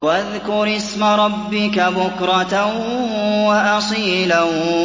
وَاذْكُرِ اسْمَ رَبِّكَ بُكْرَةً وَأَصِيلًا